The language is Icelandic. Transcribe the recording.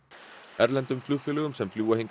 erlendum flugfélögum sem fljúga hingað